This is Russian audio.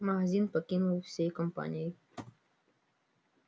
магазин покинули всей компанией